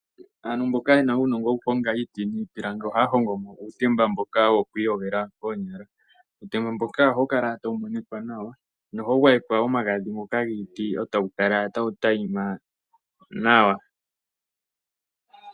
Aantu mboka yena uunongo wokuhonga iiti niipilangi ohaya hongomo uutemba mboka woku iyogela koonyala. Uutemba mboka ohawu kala tawu monikwa nawa nohawu gwayekwa omagadhi giiti, e tawu kala tawu tayima nawa.